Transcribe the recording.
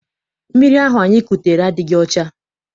Mmiri ahụ anyị kutere adịghị ọcha.